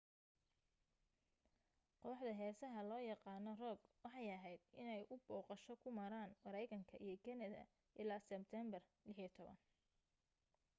kooxda heesaha loo yaqaana rock waxay ahayd inay u booqasho ku maran mareykanka iyo kanada ilaa sebteembar 16